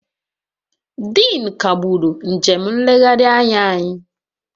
Dean kagburu njem nlegharị anya anyị